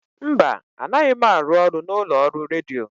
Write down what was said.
Mba, anaghị m arụ ọrụ n'ụlọ ọrụ redio.